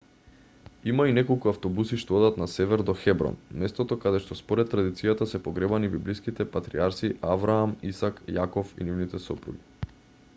има и неколку автобуси што одат на север до хеброн местото каде што според традицијата се погребани библиските патријарси авраам исак јаков и нивните сопруги